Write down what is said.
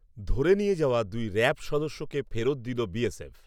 ধরে নিয়ে যাওয়া দুই র‌্যাব সদস্যকে ফেরত দিল বিএসএফ